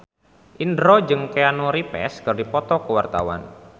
Indro jeung Keanu Reeves keur dipoto ku wartawan